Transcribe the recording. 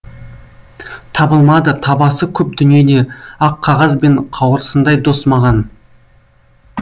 табылмады табасы көп дүниеде ақ қағаз бен қауырсындай дос маған